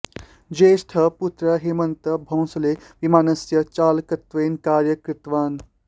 ज्येष्ठः पुत्रः हेमन्त भोंसले विमानस्य चालकत्वेन कार्यं कृतवान्